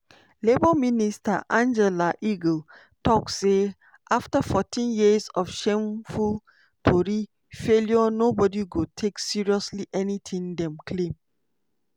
labour minister angela eagle tok say "afta 14 years of shameful tory failure nobody go take seriously anything dem claim".